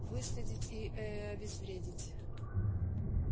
выследить и э обезвредить